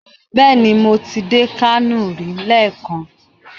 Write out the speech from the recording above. Bẹẹni, mo ti dé Kano rí leekan